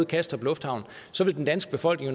kastrup lufthavn vil den danske befolkning